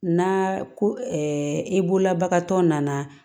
Na ko i bolobagatɔ nana